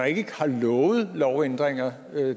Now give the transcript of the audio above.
ikke har lovet lovændringer